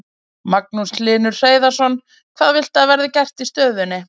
Magnús Hlynur Hreiðarsson: Hvað viltu að verði gert í stöðunni?